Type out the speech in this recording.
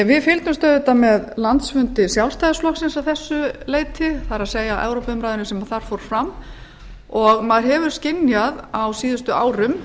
við fylgdumst auðvitað með landsfundi sjálfstæðisflokksins að þessu leyti það er evrópuumræðunni sem þar fór fram maður hefur kost skynja á síðustu árum